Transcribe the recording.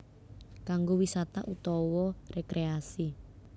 Kanggo wisata utawa rekreasi